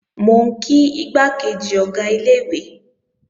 Mò ń kí igbákejì Ọ̀gá ilé-ìwé